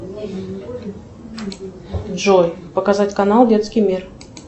джой показать канал детский мир